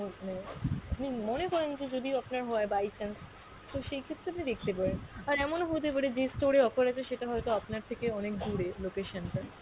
মানে আপনি মনে করেন যে যদি আপনার হয় by chance তো সেক্ষেত্রে আপনি দেখতে পারেন। আর এমনও হতে পারে যে store এ offer আছে সেটা হয়তো আপনার থেকে অনেক দুরে location টা।